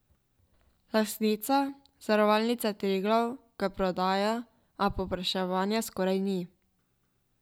Lastnica, Zavarovalnica Triglav, ga prodaja, a povpraševanja skoraj ni.